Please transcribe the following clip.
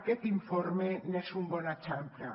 aquest informe n’és un bon exemple